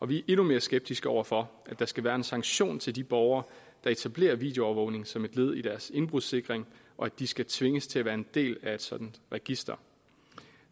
vi er endnu mere skeptiske over for at der skal være en sanktion til de borgere der etablerer videoovervågning som et led i deres indbrudssikring og at de skal tvinges til at være en del af et sådant register